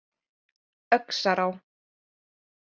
Öxará